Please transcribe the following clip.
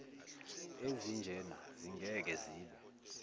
ezinjena zingeke zibe